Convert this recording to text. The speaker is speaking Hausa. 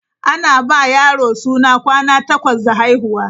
Ana ba wa yaro suna kwana takwas da haihuwa.